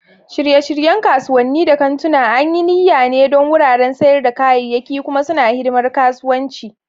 Shirye-shiryen kasuwanni da kantuna an yi niyya ne don wuraren sayar da kayayyaki, kuma suna hidimar kasuwanci.